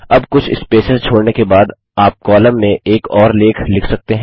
अब कुछ स्पेसेस छोड़ने के बाद आप कॉलम में एक और लेख लिख सकते हैं